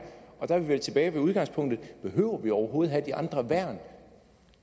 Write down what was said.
og der er vi vel tilbage ved udgangspunktet behøver vi overhovedet have de andre værn